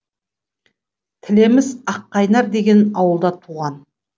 тілеміс аққайнар деген ауылда туған